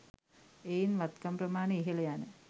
එයින් වත්කම් ප්‍රමාණය ඉහළ යන